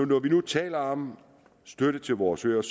når vi nu taler om støtte til vores øer